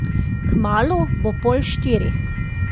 Kmalu bo pol štirih.